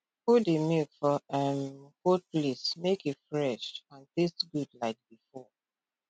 put di milk for um cold place make e fresh and taste good like before